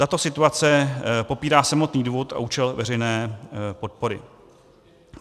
Tato situace popírá samotný důvod a účel veřejné podpory.